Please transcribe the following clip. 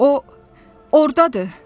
O, ordadır!